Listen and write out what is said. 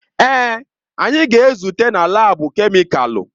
Èè, anyị ga-ezute na laabu kemịkalụ.